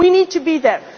from outside Europe.